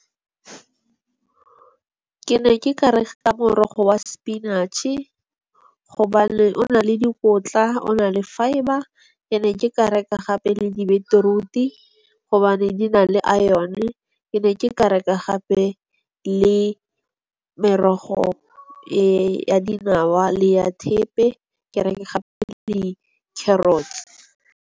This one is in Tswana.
Ke ne ke ka reka morogo wa sepinatšhe, gobane o na le dikotla o na le fibre. Ke ka reka gape le di-beetroot-i gobane di na le iron-e, ke ne ke ka reka gape le merogo ya dinawa le ya thepe, ke reke gape le di-carrots.